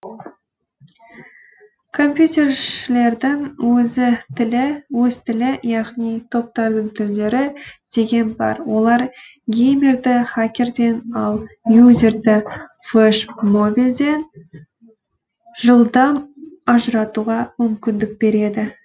компьютершілердің өз тілі яғни топтардың тілдері деген бар олар геймерді хакерден ал юзерді флешмобильден жылдам ажыратуға мүмкіндік береді